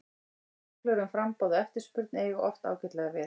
Reglur um framboð og eftirspurn eiga oft ágætlega við.